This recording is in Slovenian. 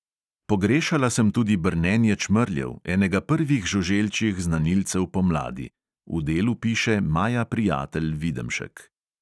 Pogrešala sem tudi brnenje čmrljev, enega prvih žuželčjih znanilcev pomladi, v delu piše maja prijatelj videmšek.